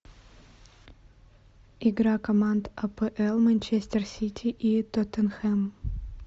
игра команд апл манчестер сити и тоттенхэм